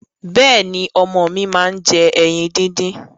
Bẹ́ẹ̀ni, ọmọ mi máa ń jẹ ẹyin díndín.